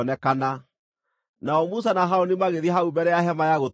Nao Musa na Harũni magĩthiĩ hau mbere ya Hema-ya-Gũtũnganwo,